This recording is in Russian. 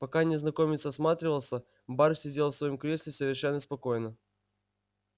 пока незнакомец осматривался бар сидел в своём кресле совершенно спокойно